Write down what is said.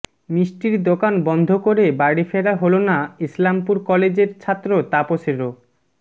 মিষ্টির দোকান বন্ধ করে বাড়ি ফেরা হল না ইসলামপুর কলেজের ছাত্র তাপসেরও